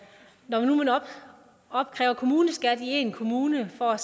når nu man opkræver kommuneskat i én kommune for